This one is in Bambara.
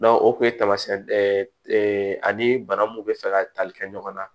o kun ye taamasiyɛn ani bana mun bɛ fɛ ka tali kɛ ɲɔgɔn na